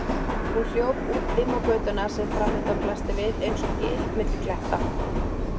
Hún hljóp út dimma götuna sem framundan blasti við einsog gil milli kletta.